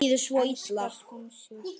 Enskar skonsur